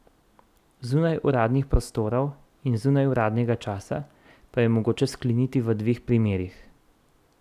Zunaj uradnih prostorov in zunaj uradnega časa pa jo je mogoče skleniti v dveh primerih.